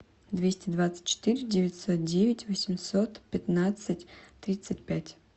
двести двадцать четыре девятьсот девять восемьсот пятнадцать тридцать пять